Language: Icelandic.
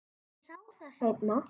Ég sá það seinna.